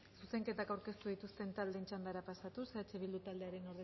zuzenketak aurkeztu dituzten taldeen txandara pasatuz eh bildu taldearen